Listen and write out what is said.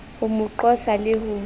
ho mo qosa le ho